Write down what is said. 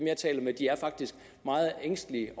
jeg taler med er faktisk meget ængstelige